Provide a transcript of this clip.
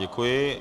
Děkuji.